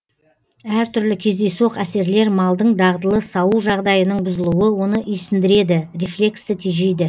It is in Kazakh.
әр түрлі кездейсоқ әсерлер малдың дағдылы сауу жағдайының бұзылуы оны исіндіреді рефлексті тежейді